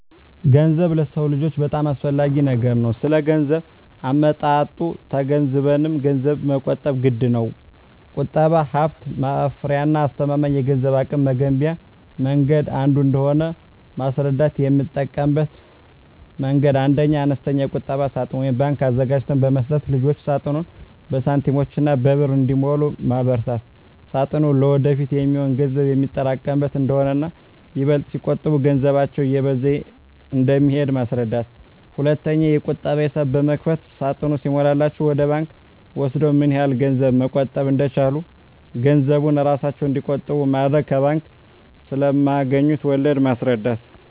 ገንዘብ ለሰው ልጆች በጣም አስፈላጊ ነገር ነው ስለገንዘብ አመጣጡ ተገንዝበንም ገንዘብን መቆጠብ ግድነው። ቁጠባ ሀብት ማፍሪያና አስተማማኝ የገንዘብ አቅም መገንቢያ መንገድ አንዱ እንደሆነ ማስረዳት: የምጠቀምበት መንገድ 1ኛ, አነስተኛ የቁጠባ ሳጥን (ባንክ) አዘጋጅተን በመስጠት ልጆች ሳጥኑን በሳንቲሞችና በብር እንዲሞሉ ማበርታት ሳጥኑ ለወደፊት የሚሆን ገንዘብ የሚያጠራቅሙበት እንደሆነና ይበልጥ ሲቆጥቡ ገንዘባቸው እየበዛ እንደሚሄድ ማስረዳት። 2ኛ, የቁጠባ ሂሳብ በመክፈት ሳጥኑ ሲሞላላቸው ወደ ባንክ ወስደው ምን ያህል ገንዘብ መቆጠብ እንደቻሉ ገንዘቡን እራሳቸው እንዲቆጥሩ ማድረግ። ከባንክ ስለማገኙት ወለድ ማስረዳት።